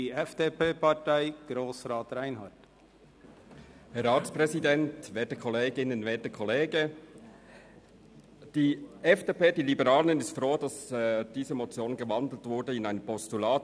Die FDP beziehungsweise die Liberalen sind froh, dass diese Motion in ein Postulat gewandelt worden ist.